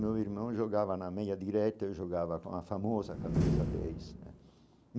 Meu irmão jogava na meia direta eu jogava com a famosa camisa dez né.